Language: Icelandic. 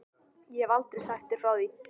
Ég hef aldrei sagt þér frá því.